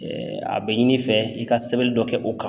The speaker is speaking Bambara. a bɛ ɲini i fɛ i ka sɛbɛnni dɔ kɛ o kan.